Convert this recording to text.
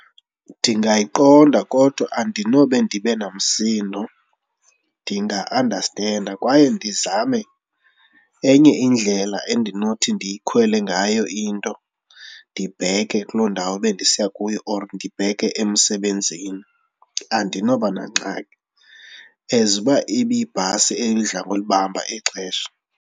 Ndingayiqonda kodwa andinobe ndibe namsindo, ndinga-andastenda kwaye ndizame enye indlela endinothi ndiyikhwele ngayo into ndibheke kuloo ndawo bendisiya kuyo or ndibheke emsebenzini. Andinobanangxaki as uba ibe yibhasi edla ngolibamba ixesha.